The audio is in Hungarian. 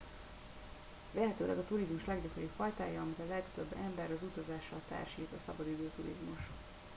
vélhetőleg a turizmus leggyakoribb fajtája amit a legtöbb ember az utazással társít a szabadidő turizmus